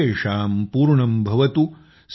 सर्वेषां पुर्णंभवतु